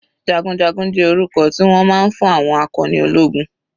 Jagunjagun jẹ́ orúkọ tí wọ́n máa ń fún àwọn akọni ológun.